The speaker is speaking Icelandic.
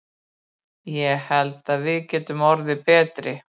Ég held að við getum orðið betri.